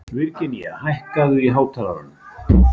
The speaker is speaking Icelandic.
Virginía, hækkaðu í hátalaranum.